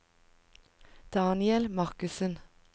Daniel Markussen